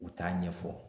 U t'a ɲɛfɔ